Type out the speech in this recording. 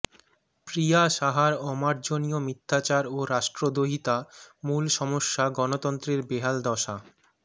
প্রিয়া সাহার অমার্জনীয় মিথ্যাচার ও রাষ্ট্রদ্রোহিতা মূল সমস্যা গণতন্ত্রের বেহাল দশা